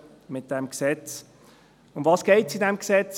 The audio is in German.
Worum geht es in diesem Gesetz?